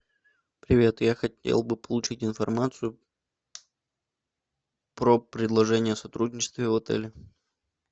привет я хотел бы получить информацию про предложение о сотрудничестве в отеле